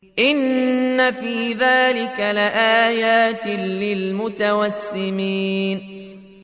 إِنَّ فِي ذَٰلِكَ لَآيَاتٍ لِّلْمُتَوَسِّمِينَ